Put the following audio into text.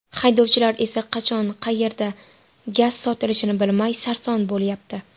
Haydovchilar esa qachon, qayerda gaz sotilishini bilmay, sarson bo‘lyapti.